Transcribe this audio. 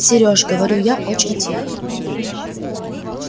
серёж говорю я очень тихо